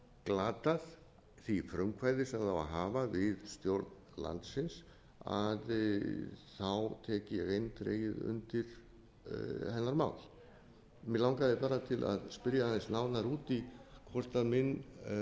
glatað því frumkvæði sem það á að hafa við stjórn landsins tek ég eindregið undir hennar mál mig langaði bara til að spyrja aðeins nánar út i hvort minn